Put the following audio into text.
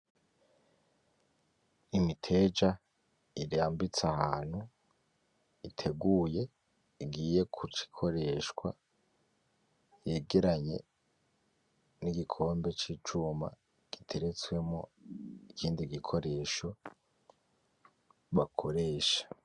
Imiteja irambitse ahantu iteguye igiye kuca ikoreshwa yegeranye nigikombe cicuma giteretswemwo ikindi gikoresho bakoresha